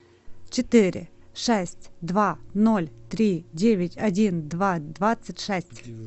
четыре шесть два ноль три девять один два двадцать шесть